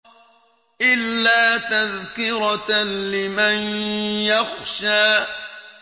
إِلَّا تَذْكِرَةً لِّمَن يَخْشَىٰ